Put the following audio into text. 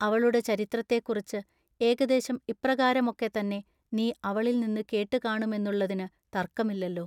അവളുടെ ചരിത്രത്തെക്കുറിച്ച് ഏകദേശം ഇപ്രകാരമൊക്കെത്തന്നെ നീ അവളിൽ നിന്നു കേട്ടു കാണുമെന്നുള്ളതിനു തർക്കമില്ലല്ലൊ.